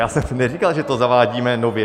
Já jsem neříkal, že to zavádíme nově.